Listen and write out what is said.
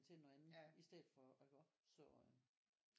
Til noget andet i stedet for iggå så øh